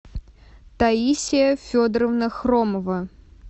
таисия федоровна хромова